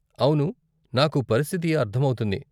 అవును, నాకు పరిస్థితి అర్ధం అవుతుంది.